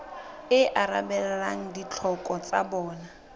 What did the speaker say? e arabelang ditlhoko tsa bona